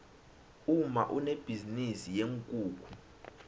umma unebhizinisi yeenkukhu